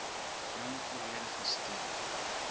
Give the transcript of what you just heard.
bring volledige steun